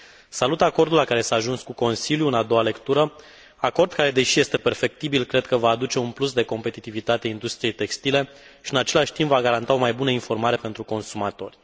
Salut acordul la care s a ajuns cu Consiliul în a doua lectură, acord care, deși este perfectibil, cred că va aduce un plus de competitivitate industriei textile și, în același timp, va garanta o mai bună informare pentru consumatori.